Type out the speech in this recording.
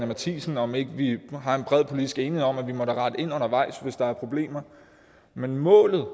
matthiesen om ikke vi nu har en bred politisk enighed om at vi da må rette ind undervejs hvis der er problemer men målet